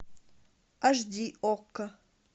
аш ди окко